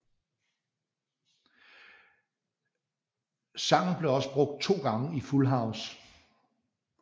Sangen blev også brugt to gange i Full House